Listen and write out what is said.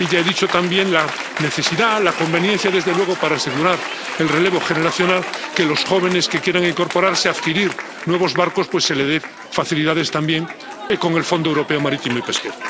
Y ya he hablado también de la necesidad, de la conveniencia, desde luego, para asegurar el relevo generacional, de que a los jóvenes que quieran incorporarse y adquirir nuevos barcos, pues se le den facilidades también con el Fondo Europeo Marítimo y de Pesca.